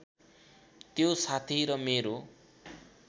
त्यो साथी र मेरो